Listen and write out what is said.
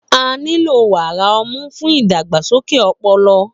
A nilo wara ọmu fun idagbasoke ọpọlọ